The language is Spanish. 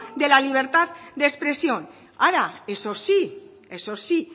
de la libertad de expresión ahora eso sí eso sí